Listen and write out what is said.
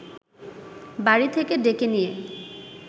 বাড়ি থেকে ডেকে নিয়ে